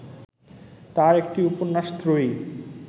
তাঁর একটি উপন্যাস ত্রয়ী